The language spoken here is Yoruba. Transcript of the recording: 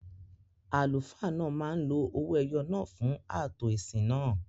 Àlùfáà náà máa ń lo ọwọ-ẹyọ̀ náà fún ààtò ìsìn náà